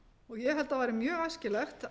ég held að væri mjög æskilegt